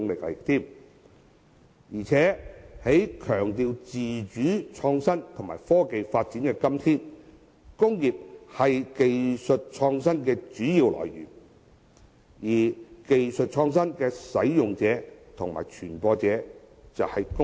在強調自主、創新和科技發展的今天，工業是技術創新的主要來源，而技術創新的使用者及傳播者就是工業。